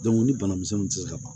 ni banamisɛnnin tɛ se ka ban